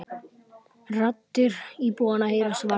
Raddir íbúanna heyrast varla.